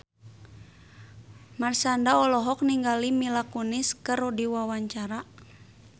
Marshanda olohok ningali Mila Kunis keur diwawancara